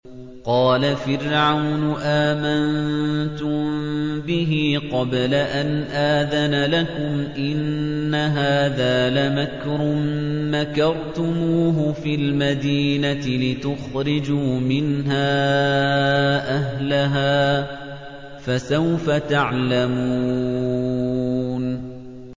قَالَ فِرْعَوْنُ آمَنتُم بِهِ قَبْلَ أَنْ آذَنَ لَكُمْ ۖ إِنَّ هَٰذَا لَمَكْرٌ مَّكَرْتُمُوهُ فِي الْمَدِينَةِ لِتُخْرِجُوا مِنْهَا أَهْلَهَا ۖ فَسَوْفَ تَعْلَمُونَ